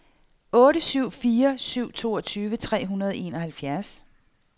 otte syv fire syv toogtyve tre hundrede og enoghalvfjerds